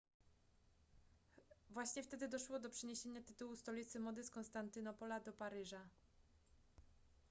właśnie wtedy doszło do przeniesienia tytułu stolicy mody z konstantynopola do paryża